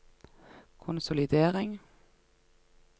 konsolidering